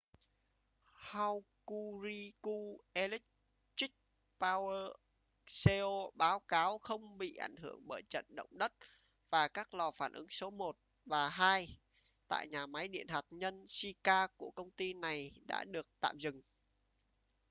hokuriku electric power co báo cáo không bị ảnh hưởng bởi trận động đất và các lò phản ứng số 1 và 2 tại nhà máy điện hạt nhân shika của công ty này đã được tạm dừng